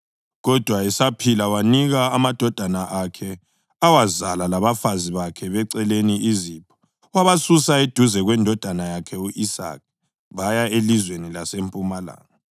Kodwa esaphila wanika amadodana akhe awazala labafazi bakhe beceleni izipho, wabasusa eduze kwendodana yakhe u-Isaka baya elizweni lasempumalanga.